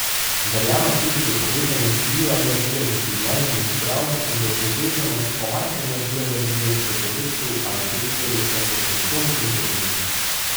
Verjame tudi v povezanost bioenergije z življenjem in zdravjem in v povezanost pomanjkanja bioenergije v telesu ali delih telesa s simptomi in boleznimi.